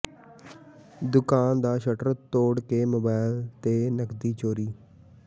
ਦੁਕਾਨ ਦਾ ਸ਼ਟਰ ਤੋੜ ਕੇ ਮੋਬਾਈਲ ਤੇ ਨਕਦੀ ਚੋਰੀ